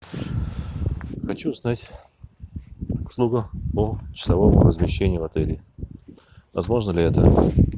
хочу узнать услугу по часовому размещению в отеле возможно ли это